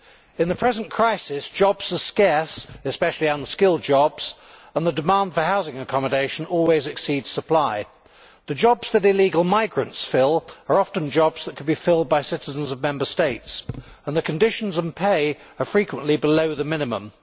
In the present crisis, jobs are scarce especially unskilled jobs and the demand for housing accommodation always exceeds supply. The jobs that illegal migrants fill are often jobs that could be filled by citizens of Member States and the conditions and pay are frequently below the minimum.